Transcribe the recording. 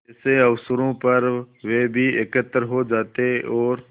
ऐसे अवसरों पर वे भी एकत्र हो जाते और